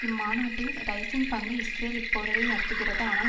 இம்மாநாட்டில் ரைஸின் பங்கு இஸ்ரேல் இப்போரடை நடத்துகிறது ஆனால்